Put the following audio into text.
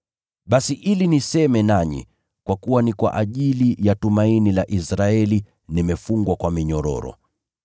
Basi hii ndiyo sababu nimewatumania, ili niseme nanyi. Kwa kuwa ni kwa ajili ya tumaini la Israeli nimefungwa kwa minyororo.”